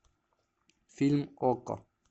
фильм окко